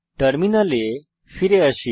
টার্মিনালে ফিরে আসি